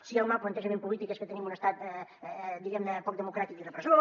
si el mal plantejament polític és que tenim un estat diguem ne poc democràtic i repressor